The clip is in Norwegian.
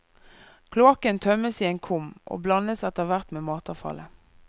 Kloakken tømmes i en kum og blandes etterhvert med matavfallet.